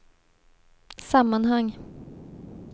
sammanhang